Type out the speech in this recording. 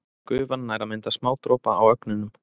Gufan nær að mynda smádropa á ögnunum.